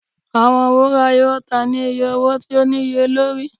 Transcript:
Awọn wura yoo ta ni iye owo ti o niyelori.